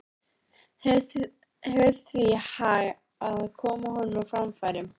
Hefur því hag af að koma honum á framfæri.